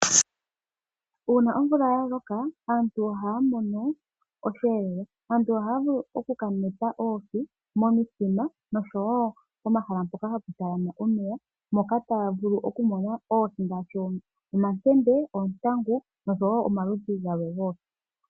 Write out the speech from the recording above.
Uuna omvula ya loka aantu ohaya mono osheelelwa. Aantu ohaya vulu oku kaneta oohi momithima oshowo momahala mpoka hapu talama omeya mpoka taya vulu okumona oohi ngaashi omakende , oontangu , oshowo omaludhi gamwe goohi.